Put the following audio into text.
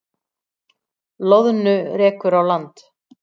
Loðnu rekur á land